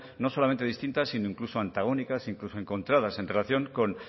no solamente distintas sino incluso antagónicas e incluso encontradas en relación con